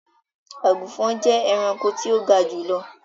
agunfọn jẹ ẹranko ti o ga julọ.